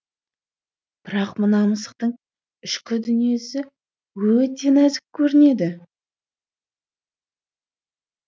бірақ мына мысықтың ішкі дүниесі өте нәзік көрінеді